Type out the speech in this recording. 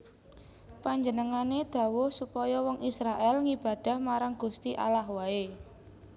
Panjenengané dhawuh supaya wong Israèl ngibadah marang Gusti Allah waé